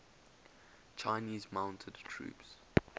chinese mounted troops